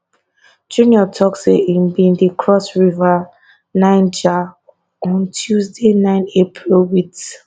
junior say im bin dey cross river niger on tuesday nine april wit